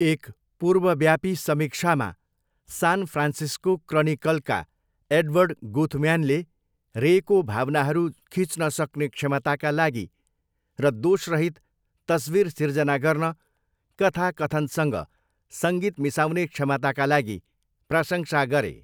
एक पूर्वव्यापी समीक्षामा, सान फ्रान्सिस्को क्रनिकलका एडवर्ड गुथम्यानले रेको भावनाहरू खिच्न सक्ने क्षमताका लागि र 'दोषरहित' तस्विर सिर्जना गर्न कथा कथनसँग सङ्गीत मिसाउने क्षमताका लागि प्रशंसा गरे।